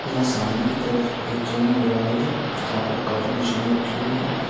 यहाँ सामने की तरफ एक जिम नजर आ रही है जहाँ पर काफी मशीनें रखी हुई हैं।